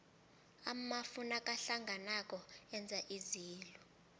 amafu nakahlanganako enza izulu